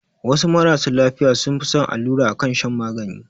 Wasu marasu lafiya sun fi son allura akan shan magani